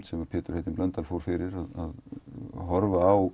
sem Pétur heitinn Blöndal fór fyrir að horfa á